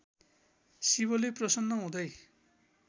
शिवले प्रसन्न हुँदै